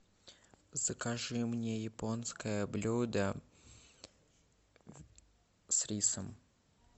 закажи мне японское блюдо с рисом